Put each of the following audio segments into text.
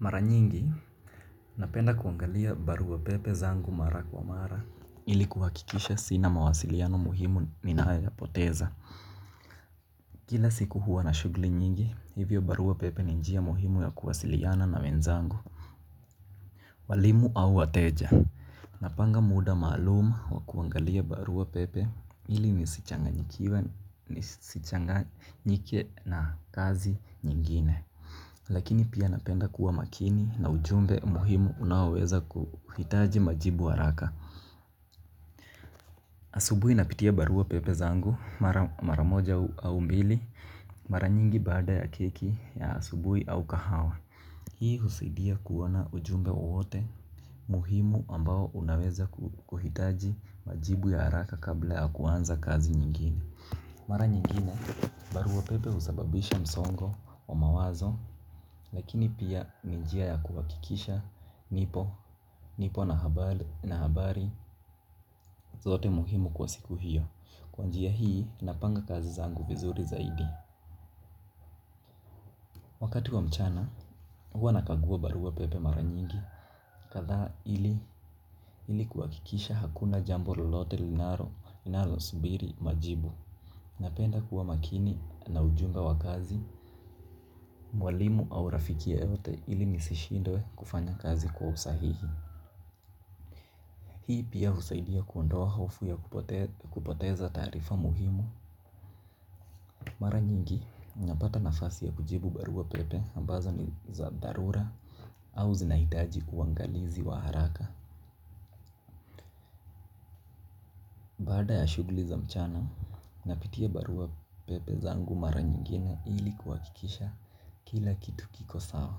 Mara nyingi, napenda kuangalia barua pepe zangu mara kwa mara. Ili kuhakikisha sina mawasiliano muhimu ninayoyapoteza. Kila siku huwa na shughuli nyingi, hivyo barua pepe ni njia muhimu ya kuwasiliana na wenzangu. Walimu au wateja. Napanga muda maalumu wa kuangalia barua pepe. Ili nisichanginjike na kazi nyingine lakini pia napenda kuwa makini na ujumbe muhimu unaweza kuhitaji majibu haraka. Asubuhi napitia barua pepe zangu mara moja au mbili mara nyingi baada ya keki ya asubuhi au kahawa. Hii husaidia kuona ujumbe wowote muhimu ambao unaweza kuhitaji majibu ya haraka kabla ya kuanza kazi nyingine. Mara nyingine barua pepe husababisha msongo wa mawazo. Lakini pia ni njia ya kuhakikisha nipo na habari zote muhimu kwa siku hiyo. Kwa njia hii napanga kazi zangu vizuri zaidi. Wakati wa mchana huwa nakagua barua pepe mara nyingi kadhaa ili ili kuhakikisha hakuna jambo lolote linalosubiri majibu. Napenda kuwa makini na ujumbe wa kazi mwalimu au rafiki yoyote ili nisishindwe kufanya kazi kwa usahihi. Hii pia husaidia kuondoa harufu ya kupoteza taarifa muhimu. Mara nyingi, unapata nafasi ya kujibu barua pepe ambazo ni za dharura au zinahitaji uangalizi wa haraka. Baada ya shughuli za mchana, napitia barua pepe zangu mara nyingine ili kuhakikisha kila kitu kiko sawa.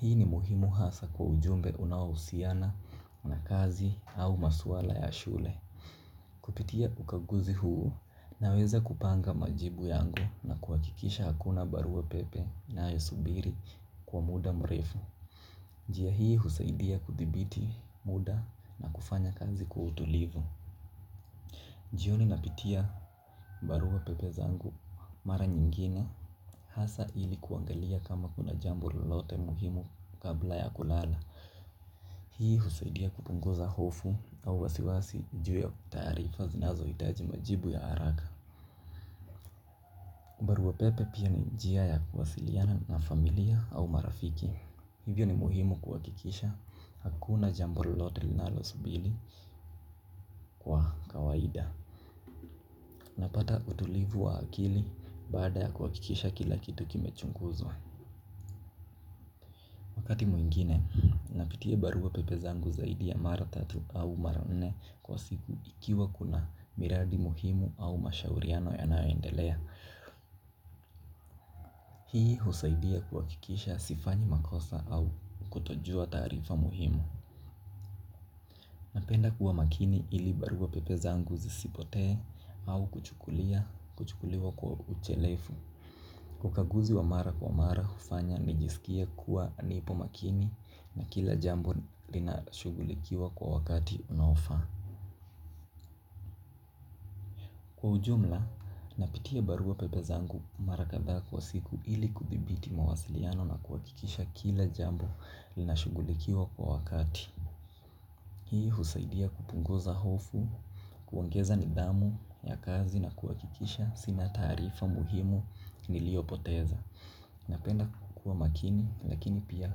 Hii ni muhimu hasa kwa ujumbe unaohusiana, na kazi au masuala ya shule. Kupitia ukaguzi huu naweza kupanga majibu yangu na kuhakikisha hakuna barua pepe inayosubiri kwa muda mrefu. Njia hii husaidia kuthibiti muda na kufanya kazi kwa utulivu. Jioni napitia barua pepe zangu mara nyingine hasa ili kuangalia kama kuna jambo lolote muhimu kabla ya kulala. Hii husaidia kupunguza hofu au wasiwasi juu ya taarifa zinazohitaji majibu ya haraka. Baruabpepe pia ni njia ya kuwasiliana na familia au marafiki. Hivyo ni muhimu kuhakikisha hakuna jambo lolote linalosubiri kwa kawaida. Napata utulivu wa akili baada ya kuhakikisha kila kitu kimechunguzwa wakati mwingine. Napitia barua pepe zangu zaidi ya mara tatu au mara nne. Kwa siku ikiwa kuna miradi muhimu au mashauriano yanayoendelea hii husaidia kuhakikisha sifanyi makosa au kutojua taarifa muhimu. Napenda kuwa makini ili barua pepe zangu zisipotee au kuchukuliwa kwa uchelefu. Ukaguzi wa mara kwa mara kufanya nijisikie kuwa nipo makini na kila jambu linashugulikiwa kwa wakati unaofaa. Kwa ujumla napitia barua pepe zangu mara kadhaa kwa siku ili kuthibiti mawasiliano na kuhakikisha kila jambo linashugulikiwa kwa wakati. Hii husaidia kupunguza hofu, kuongeza nidhamu ya kazi na kuhakikisha sina taarifa muhimu niliyopoteza. Napenda kukua makini lakini pia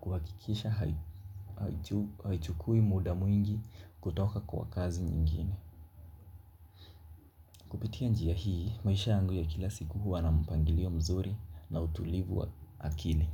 kuhakikisha haichukui muda mwingi kutoka kwa kazi nyingine. Kupitia njia hii, maisha yangu ya kila siku huwa na mpangilio mzuri na utulivu wa akili.